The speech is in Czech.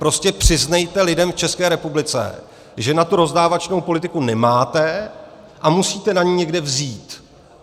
Prostě přiznejte lidem v České republice, že na tu rozdávačnou politiku nemáte a musíte na ni někde vzít.